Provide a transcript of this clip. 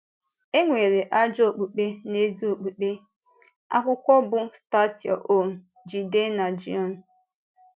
E nwere ajọ okpùkpe na ezi okpùkpe.” — Akwụkwọ bụ́ Start Your Own RJidennagion.